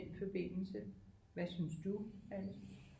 Forbindelse hvad synes du Alice